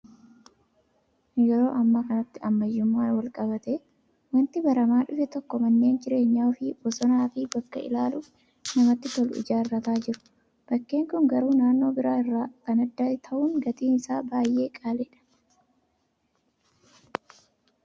Yeroo ammaa kanatti ammayyummaan wal qabatee wanti baramaa dhufe tokko manneen jireenya ofii bosonaa fi bakka ilaaluuf namatti tolutti ijaarrataa jiru. Bakkeen kun garuu naannoo biraa irraa kan adda ta'u gatiin isaa baay'ee qaaliidha.